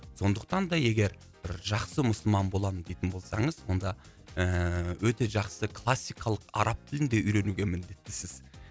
сондықтан да егер бір жақсы мұсылман боламын дейтін болсаңыз онда ыыы өте жақсы классикалық араб тілін де үйренуге міндеттісіз